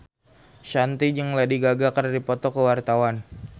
Shanti jeung Lady Gaga keur dipoto ku wartawan